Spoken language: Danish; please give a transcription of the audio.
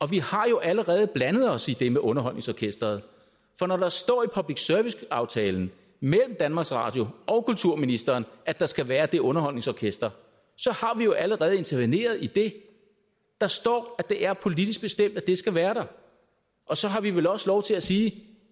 vi har jo allerede blandet os i det med underholdningsorkesteret for når der står i public service aftalen mellem danmarks radio og kulturministeren at der skal være det underholdningsorkester så har vi jo allerede interveneret i det der står at det er politisk bestemt at det skal være der og så har vi vel også lov til at sige